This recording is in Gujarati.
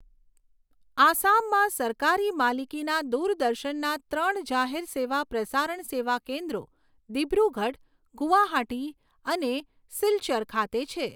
આસામમાં સરકારી માલિકીના દૂરદર્શનના ત્રણ જાહેર સેવા પ્રસારણ સેવા કેન્દ્રો દીબ્રૂગઢ, ગુવાહાટી અને સિલ્ચર ખાતે છે.